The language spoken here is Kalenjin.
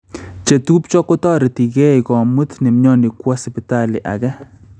Chetupcho kotoreti kei komut nemyoni kwo Sipitali age